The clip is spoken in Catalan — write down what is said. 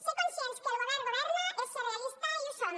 ser conscients que el govern governa és ser realista i ho som